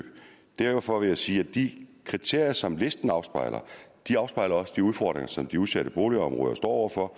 derfor vil jeg sige at de kriterier som listen afspejler de udfordringer som de udsatte boligområder står over for